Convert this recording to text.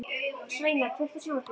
Sveina, kveiktu á sjónvarpinu.